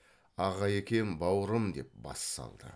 аға екем бауырым деп бас салды